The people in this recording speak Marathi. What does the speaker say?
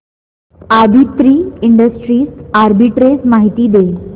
आदित्रि इंडस्ट्रीज आर्बिट्रेज माहिती दे